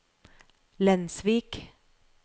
Lensvik